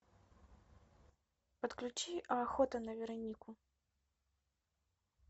подключи охота на веронику